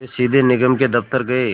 वे सीधे निगम के दफ़्तर गए